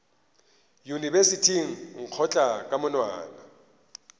yunibesithing o nkgotla ka monwana